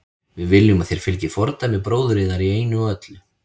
Við viljum að þér fylgið fordæmi bróður yðar í einu og öllu.